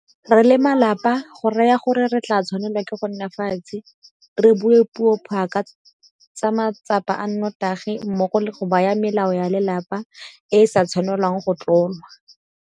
Re le malapa go raya gore re tla tshwanela ke go nna fatshe re bue puo pha ka matsapa a notagi mmogo le go baya melao ya lelapa e e sa tshwanelwang go tlolwa.